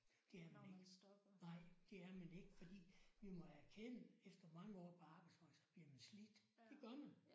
Det er man ikke. Nej det er man ikke fordi vi må erkende efter mange år på arbejdsmarkedet så bliver man slidt det gør man